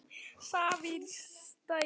Safírstræti